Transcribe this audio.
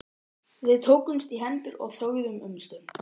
Við tókumst í hendur og þögðum um stund.